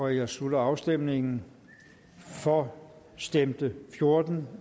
jeg slutter afstemningen for stemte fjorten